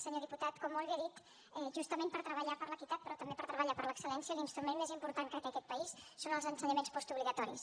senyor diputat com molt bé ha dit justament per treballar per l’equitat però també per treballar per l’excel·lència l’instrument més important que té aquest país són els ensenyaments postobligatoris